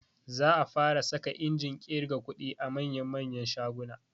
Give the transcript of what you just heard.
Za a fara saka injin ƙirga kuɗi a manya manyan shaguna